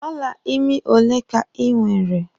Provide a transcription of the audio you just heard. Ọla ime ole ka ị nwere?